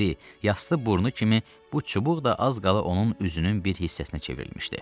İri, yaslı burnu kimi bu çubuq da az qala onun üzünün bir hissəsinə çevrilmişdi.